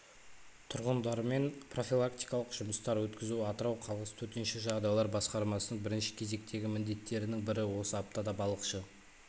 тұрғындармен профилактикалық жұмыстар өткізу атырау қаласы төтенше жағдайлар басқармасының бірінші кезектегі міндеттерінің бірі осы аптада балықшы